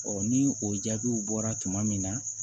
ni o jaabiw bɔra tuma min na